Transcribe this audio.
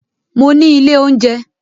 Mo ní ilé oúnjẹ